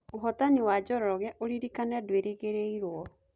Ũhotani wa Njoroge ũrĩrĩkana ndweregereirwo